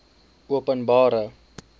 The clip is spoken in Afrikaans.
openbare